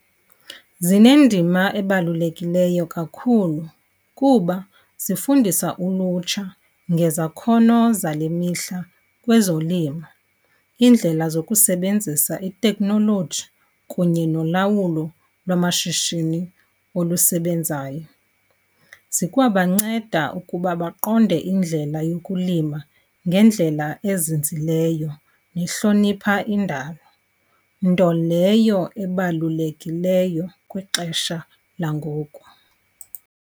Zinendima ebalulekileyo kakhulu, kuba zifundisa ulutsha ngezakhono zale mihla kwezolimo, iindlela zokusebenzisa itekhnoloji kunye nolawulo lwamashishini olusebenzayo. Zikwabanceda ukuba baqonde indlela yokulima ngendlela ezinzileyo nehlonipha indalo, nto leyo ebalulekileyo kwixesha langoku.